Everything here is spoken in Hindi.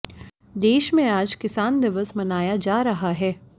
देश में आज किसान दिवस मनाया जा रहा है